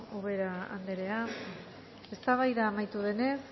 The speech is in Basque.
ubera anderea eztabaida amaitu denez